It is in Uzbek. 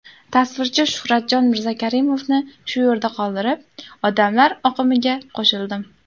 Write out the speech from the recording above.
Tasvirchi Shuhratjon Mirzakarimovni shu yerda qoldirib, odamlar oqimiga qo‘shildim.